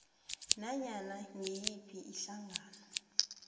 nanyana ngiyiphi ihlangano